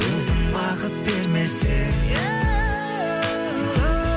өзің бақыт бермесең